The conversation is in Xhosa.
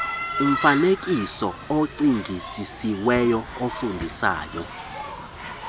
umfaneekiso ocingisisiweyo ofundisayo